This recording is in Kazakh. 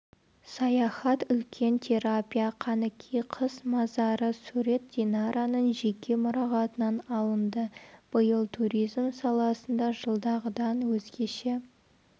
саяхат үлкен терапия қанікей қыз мазары сурет динараның жеке мұрағатынан алынды биыл туризм саласында жылдағыдан өзгеше